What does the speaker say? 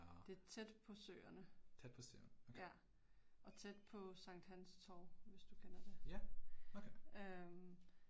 Det er tæt på Søerne. Ja. Og tæt på Sankt Hans Torv, hvis du kender det. Øh